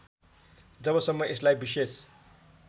जबसम्म यसलाई विशेष